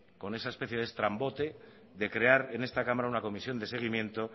con esa especie de estrambote de crear en esta cámara una comisión de seguimiento